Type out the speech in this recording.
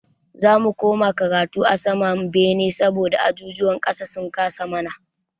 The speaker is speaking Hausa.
Za mu koma karatu a saman bene saboda ajujuwan ƙasan sun kasa mana.